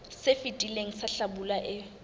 se fetileng sa hlabula e